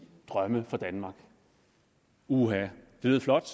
drømme for danmark uha det lød flot